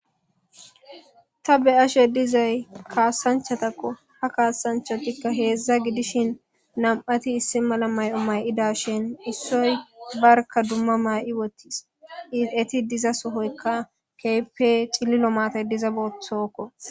Ta be ashe dizay kaasanchatakko ha kaasanchotikka heedzdza gidishin nam'ati issi mala may'o may'ida shin issoy barka dumma may'i wottis izieti diza sohoykka keype cililo maatay diza booththokko.